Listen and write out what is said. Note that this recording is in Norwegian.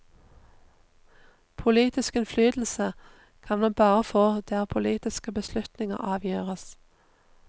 Politisk innflytelse kan man bare få der politiske beslutninger avgjøres.